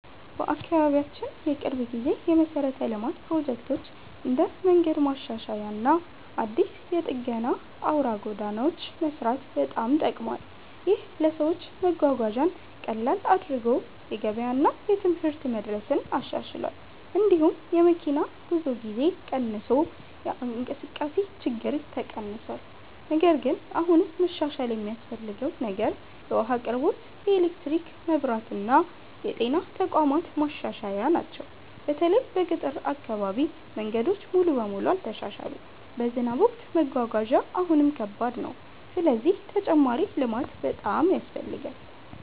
በአካባቢያችን የቅርብ ጊዜ የመሠረተ ልማት ፕሮጀክት እንደ መንገድ ማሻሻያ እና አዲስ የጠገና አውራ ጎዳናዎች መስራት በጣም ጠቅሟል። ይህ ለሰዎች መጓጓዣን ቀላል አድርጎ የገበያ እና የትምህርት መድረስን አሻሽሏል። እንዲሁም የመኪና ጉዞ ጊዜ ቀንሶ የእንቅስቃሴ ችግኝ ተቀንሷል። ነገር ግን አሁንም መሻሻል የሚያስፈልገው ነገር የውሃ አቅርቦት፣ የኤሌክትሪክ መብራት እና የጤና ተቋማት ማሻሻያ ናቸው። በተለይ በገጠር አካባቢ መንገዶች ሙሉ በሙሉ አልተሻሻሉም፣ በዝናብ ወቅት መጓጓዣ አሁንም ከባድ ነው። ስለዚህ ተጨማሪ ልማት በጣም ያስፈልጋል።